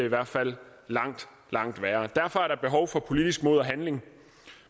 hvert fald langt langt værre derfor er der behov for politisk mod og handling